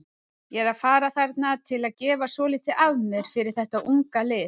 Ég er að fara þarna til að gefa svolítið af mér fyrir þetta unga lið.